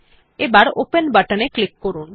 এখন open button এ click করুন